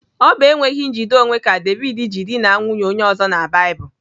Ọ bụ enweghị njide onwe ka David ji dịna nwunye onye ọzọ na Baịbụl.